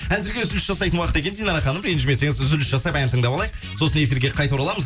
әзірге үзіліс жасайтын уақыт екен динара ханым ренджімесеңіз үзіліс жасап ән тыңдап алайық сосын эфирге қайта ораламын